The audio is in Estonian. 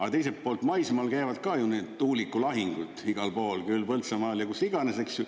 Aga teiselt poolt maismaal käivad ka ju nüüd tuulikulahingud igal pool, küll Põltsamaal ja kus iganes, eks ju.